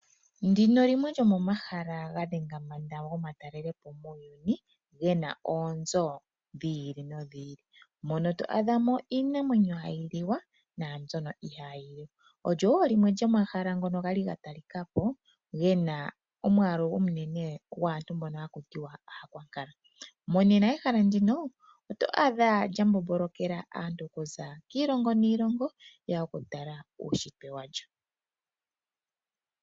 Ndino limwe lyomomahala gadhenga mbanda ngomatalelepo muuyuni, ngena oonzo dhili nodhili mono twadhamo Iinamwenyo hayiliwa na mbyono ohayiliwa, olyowo omahala ngono kwali ngatalikako ngena omwalu ominene ngwaantu mbono hakutiwa aakwakala, monena ehala ndino oto adha lyambombolokela aantu okuza kiilongo niilongo yeya okutala uushitwe walyo.